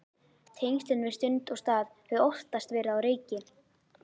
Tengslin við stund og stað höfðu oftast verið á reiki.